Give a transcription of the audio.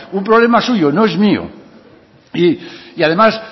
un problema suyo no es mío y además